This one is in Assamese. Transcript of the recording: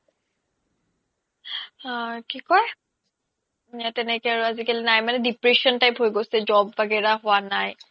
আ কি কই তেনেকে আৰু আজিকালি নাই depression type হৈ গৈছে মানে job ৱাগেৰা হুৱা নাই